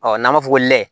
Ɔ n'an b'a fɔ ko lɛ